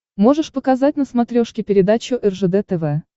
можешь показать на смотрешке передачу ржд тв